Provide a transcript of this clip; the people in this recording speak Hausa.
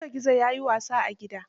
Gizo gizo ya yi yawa a gidan.